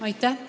Aitäh!